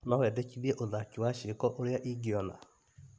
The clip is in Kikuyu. No wendekithie uthaki wa ciĩko ũrĩa ingiona ?